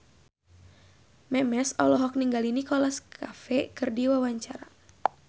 Memes olohok ningali Nicholas Cafe keur diwawancara